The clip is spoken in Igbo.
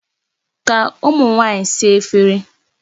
Ka ụmụ nwaanyị saa efere.